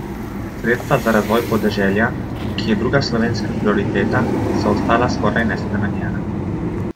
Sredstva za razvoj podeželja, ki je druga slovenska prioriteta, so ostala skoraj nespremenjena.